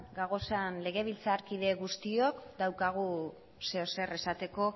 gauden legebiltzarkide guztiok daukagu zerbait esateko